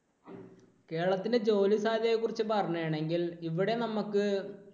കേരളത്തിന്റെ ജോലി സാധ്യതയെ കുറിച്ച് പറയുകയാണെങ്കിൽ ഇവിടെ നമുക്ക്